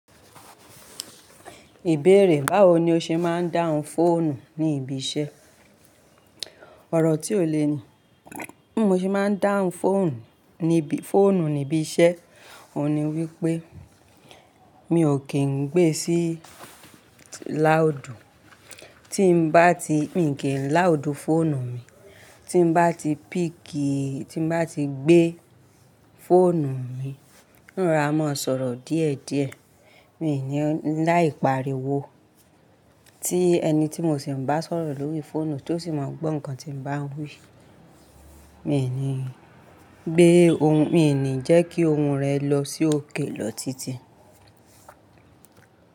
Ìbéèrè, báwo ni o ṣe máa ń dáhùn fóònù ní ibi iṣẹ́? Ọ̀rọ̀ tí ó le ni bi mo ṣe máa ń dáhùn fóònù níbi, fóònù ní ibi iṣẹ́, òun ni wípé mi ò kì í gbé sí láùdù. Tí n bá ti, mi kì í n láùdù fóònù mi. Tí n bá ti píìkì, tí n bá ti gbé fóònù mi, ń rora má sọ̀rọ̀ díẹ̀díẹ̀. Mi ní láì pariwo tí ẹni tí mo sì ń bá sọ̀rọ̀ lórí fóònù tó sì máa gbọ́ nǹkan tí n bá ń wí. Mi ní gbé ohun, mi ò ní jẹ́ kí ohun rẹ̀ lọ sí òkè lọ títí.